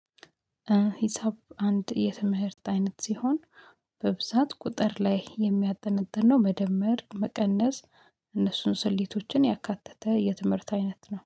ሂሳብ አንድ የትምህርት አይነት ሲሆን በብዛት ቁጥር ላይ የሚያጠነጥን ነው። መደመር መቀነስ እነሱን ስሌቶችን ያካተተ የትምህርት አይነት ነው